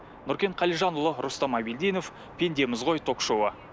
нұркен қалижанұлы рустам абильдинов пендеміз ғой ток шоуы